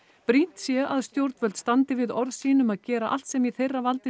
brýnt sé að stjórnvöld standi við orð sín um að gera allt sem í þeirra valdi